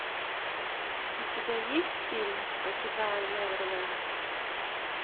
у тебя есть фильм покидая неверленд